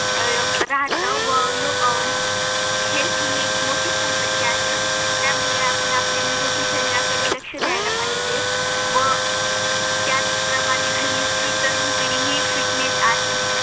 राहत व युग हेही एक मोठी संपत्ती आहे त्यामुळे आपण आपल्या निरोगी शहराकडे लक्ष द्यायला पाहिजे व त्याच प्रमाणे हल्ली ची तरुण पिढी हि fitness आणि